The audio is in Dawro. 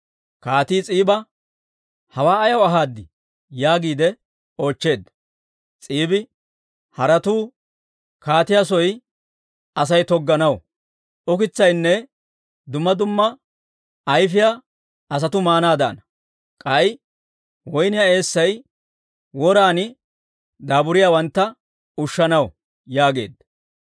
Kaatii s'iiba, «Hawaa ayaw ahaad?» yaagiide oochcheedda. S'iibi, «Haretuu kaatiyaa soo Asay togganaw; ukitsaynne dumma dumma ayfiyaa asatuu maanaadana; k'ay woyniyaa eessay woran daaburiyaawantta ushshanaw» yaageedda.